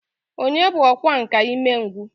Onye bu ọkwá nkà imengwu